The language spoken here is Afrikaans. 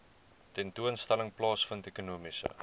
tentoonstelling plaasvind ekonomiese